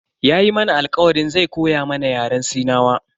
Yayi mana alkawarin zai koya mana Yaren sinawa.